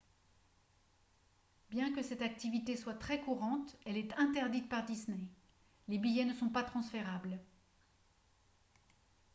bien que cette activité soit très courante elle est interdite par disney les billets ne sont pas transférables